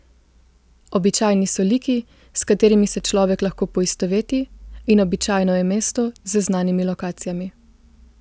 Običajni so liki, s katerimi se človek lahko poistoveti, in običajno je mesto z znanimi lokacijami.